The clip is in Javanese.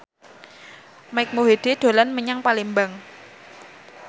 Mike Mohede dolan menyang Palembang